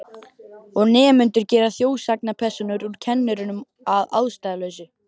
Og nemendur gera þjóðsagnapersónur úr kennurum að ástæðulausu.